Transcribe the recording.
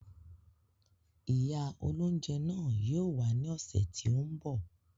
Ìyá óloúnjẹ náà yìí ó wá ní ọ̀sẹ̀ tí ó ń bọ̀